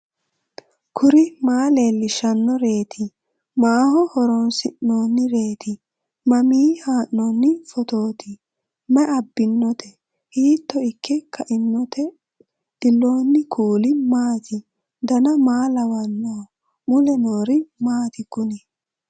kuri maa leellishannoreeti maaho horoonsi'noonnireeti mamiinni haa'noonni phootooti mayi abbinoote hiito ikke kainote ellannohu kuulu maati dan maa lawannoho mule noori maati kuni